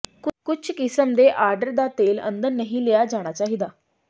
ਕੁਝ ਕਿਸਮ ਦੇ ਆਰਡਰ ਦਾ ਤੇਲ ਅੰਦਰ ਨਹੀਂ ਲਿਆ ਜਾਣਾ ਚਾਹੀਦਾ